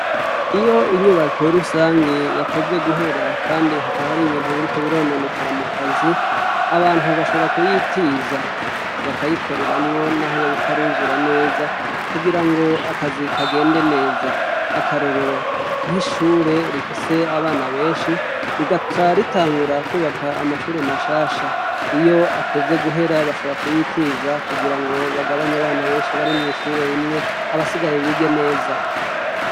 Iyo inyubako rusangi yatevye guhera Kandi hakaba haribintu biriko birononekara mukazi, abantu bashobora kuyitiza, bakayikoreramwo naho yob’itaruzura neza kugirango akazi kagende neza. Akarorero nk’ishuri rifise abana benshi, rigaca ritangura kwubaka amashuri mashasha. Iyo atevye guhera bashobora kuyitiza kugirango bagabany’abana benshi bari mw’ishuri rimwe abasigaye bige neza.